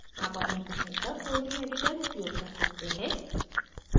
आप अपनी पसंद का कोई भी editor उपयोग कर सकते हैं